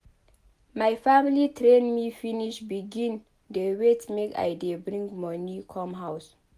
My family train me finish begin dey wait make I dey bring moni come house.